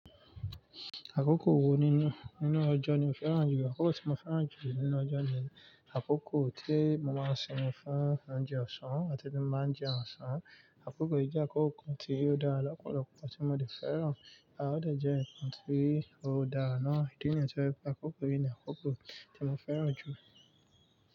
Àkókò wo nínú, nínú ọjọ́ ni o fẹ́ràn jùlọ? Àkókò tí mo fẹ́ràn jùlọ nínú ọjọ́ ni àkókò tí mo máa ń sinmi fún oúnjẹ ọ̀sán àti tí mo máa ń jẹun ọ̀sán. Àkókò yìí jẹ́ àkókò kan tí ó dára lọ́polopi lọ́ tí mo de fẹ́ràn. À ó de jẹ́ nǹkan tí ó dára náà nítorí pé àkókò yìí ni àkókò tí mo fẹ́ràn jù.